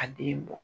A den bɔ